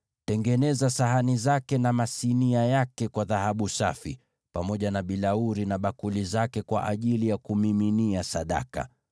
Tengeneza sahani zake na masinia yake kwa dhahabu safi, pamoja na bilauri na bakuli zake kwa ajili ya kumiminia sadaka.